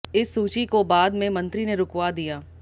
इस सूची को बाद में मंत्री ने रुकवा दिया